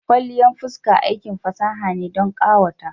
Kwalliyan fuska aikin fasaha ne don ƙawata.